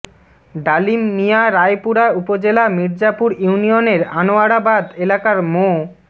ডালিম মিয়া রায়পুরা উপজেলা মির্জাপুর ইউনিয়নের আনোয়ারাবাদ এলাকার মো